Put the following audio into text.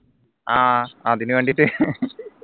ആഹ് അതിനു വേണ്ടിട്ട്